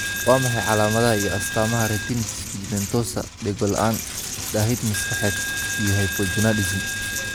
Waa maxay calamadaha iyo calamadaha retinitis pigmentosa, dhego la'aan, daahid maskaxeed, iyo hypogonadism?